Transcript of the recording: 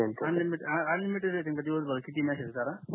unlimited unlimited दिवस भर कितीही मेसेज करा